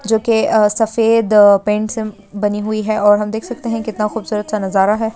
जो के सफेद पैंट से बनी हुई है और हम देख सकते है कितना खूबसूरत सा नजारा है।